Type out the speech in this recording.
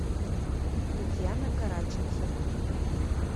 татьяна караченцева